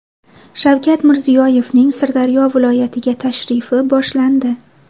Shavkat Mirziyoyevning Sirdaryo viloyatiga tashrifi boshlandi.